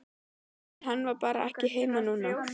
En hann var bara ekki heima núna.